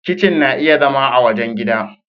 Kitchen na iya zama a wajen gidan.